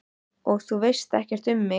Og þú veist ekkert um mig